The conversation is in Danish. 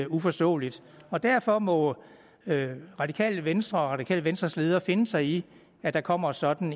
uforståeligt og derfor må det radikale venstre og det radikale venstres ledere finde sig i at der kommer sådan